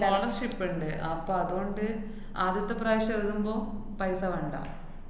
partnership ഇണ്ട്. അപ്പ അതുകൊണ്ട് ആദ്യത്തെപ്രാശ്യം എഴുതുതുമ്പൊ paisa വേണ്ട.